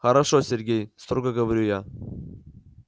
хорошо сергей строго говорю я